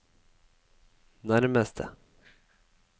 nærmeste